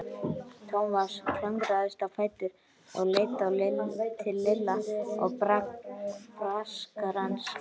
Thomas klöngraðist á fætur og leit til Lilla og Braskarans.